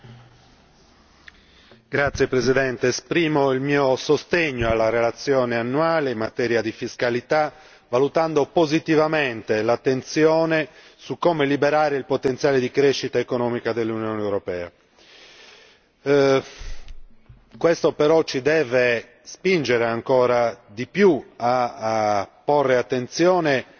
Signora Presidente, onorevoli colleghi, esprimo il mio sostegno alla relazione annuale in materia di fiscalità, valutando positivamente l'attenzione su come liberare il potenziale di crescita economica dell'Unione europea. Questo però ci deve spingere ancora di più a